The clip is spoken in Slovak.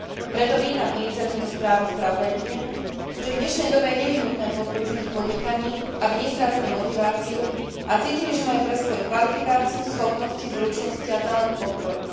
Preto vítam iniciatívnu správu spravodajkyne, keďže v dnešnej dobe je nevyhnutné podporiť ženy v podnikaní, aby nestrácali motiváciu a cítili, že majú pre svoju kvalifikáciu, schopnosti, zručnosti a talent podporu.